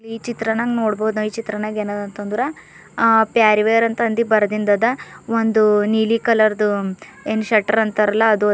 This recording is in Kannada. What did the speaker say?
ಈ ಚಿತ್ರನಗ್ ನೋಡ್ಬೋದ್ ನಾವ್ ಈ ಚಿತ್ರನಾಗ್ ಎನ್ನ್ ಅದ ಅಂತ ಅಂದ್ರ ಪ್ಯಾರ್ವರ್ ಅಂತ ಅಂದಿ ಬರೆದಿಂದ ಅದ ಒಂದು ನೀಲಿ ಕಲರ್ದು ಏನ್ ಶೇಟರ್ ಅಂತಾರಲ್ಲ ಅದು ಅದ.